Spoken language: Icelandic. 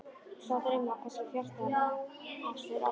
Sá draumur var kannski fjarstæðastur allra.